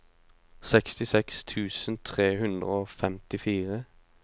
sekstiseks tusen tre hundre og femtifire